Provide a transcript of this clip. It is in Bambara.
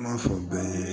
M'a fɔ bɛɛ ye